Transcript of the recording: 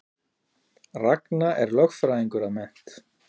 Ragna er lögfræðingur að mennt